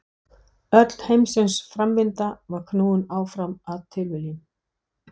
Öll heimsins framvinda var knúin áfram af tilviljunum.